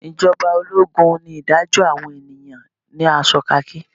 ijoba ologun ni idajo awon eniyan ni aso khaki.